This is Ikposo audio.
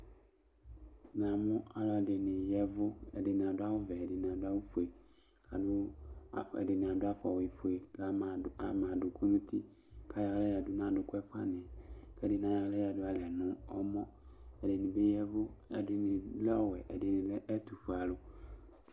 Namʋ alʋɛdɩnɩ ya ɛvʋ kʋ adʋ awʋvɛ, ɛdɩnɩ adʋ awʋfue, adʋ, ɛdɩnɩ adʋ afɔwuifue Lama ama adʋkʋ nʋ uti kʋ ayɔ aɣla yǝdu nʋ adʋkʋ ɛfʋanɩ yɛ kʋ ɛdɩnɩ ayɔ aɣla yǝdu alɛ nʋ ɛmɔ Ɛdɩnɩ bɩ ya ɛvʋ, ɛdɩnɩ lɛ ɔwɛ, ɛdɩnɩ lɛ ɛtʋfue